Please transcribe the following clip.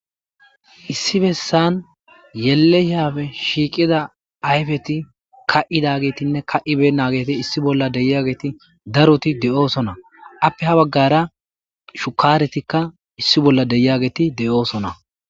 Issi bessan yelehiyafe shiiqida ayfeti ka7idagetinne ka'ibe nageti issi bolla deyageeti daroti de7oosona appe ha baggara shukaretikka issi bolla deyageeti de'oosona.